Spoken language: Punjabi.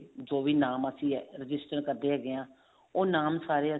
ਜੋ ਵੀ ਨਾਮ ਅਸੀਂ register ਕਰਦੇ ਹੈਗੇ ਹਾਂ ਉਹ ਨਾਮ ਸਾਰੇ